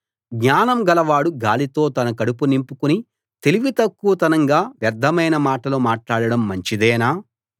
జ్ఞానం గలవాడు గాలితో తన కడుపు నింపుకుని తెలివి తక్కువతనంగా వ్యర్ధమైన మాటలు మాట్లాడడం మంచిదేనా